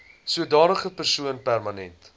sodanige persoon permanent